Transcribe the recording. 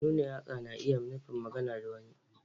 Nuna yatsa na iya nufin magana da wani.